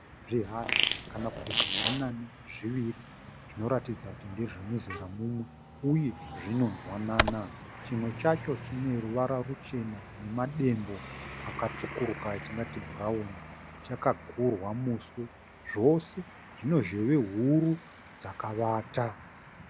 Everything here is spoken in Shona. Zvihanda kana kuti zvimbwanana zviviri zvinoratidza kuti zvinonzwanana uye zvinonzwanana chimwe chacho chineruvara ruchena nemadembo akatsvukuruka atingati bhurauni. Chakagurwa muswe. Zvose zvine zheve huru dzakavata.